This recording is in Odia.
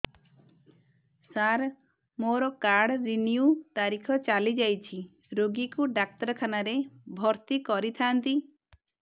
ସାର ମୋର କାର୍ଡ ରିନିଉ ତାରିଖ ଚାଲି ଯାଇଛି ରୋଗୀକୁ ଡାକ୍ତରଖାନା ରେ ଭର୍ତି କରିଥାନ୍ତି